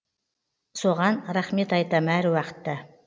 соған рахмет айтам әруақытта